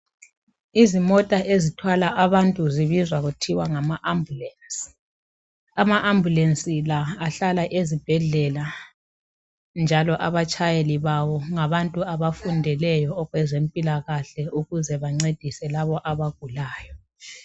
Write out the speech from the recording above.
Izimota ezithwala abantu zibizwa kuthwe ngama ambulance. Ama ambulance la ahlala ezibhendlela njalo abatshayeli bawo ngabantu abafundeleyo okwezempilakahle ukuze bancedise labo abagulayo